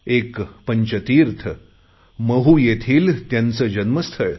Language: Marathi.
एक पंचतीर्थ महू येथील त्यांचे जन्मस्थळ